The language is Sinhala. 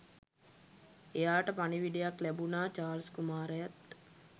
එයාට පණිවිඩයක් ලැබුනා චාල්ස් කුමාරයත්